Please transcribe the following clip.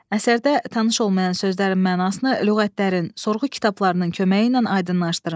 Əsərdə tanış olmayan sözlərin mənasını lüğətlərin, sorğu kitablarının köməyi ilə aydınlaşdırın.